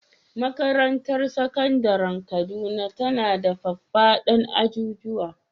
Makarantar Sakandaren Kaduna tana da faffaɗan ajujuwa.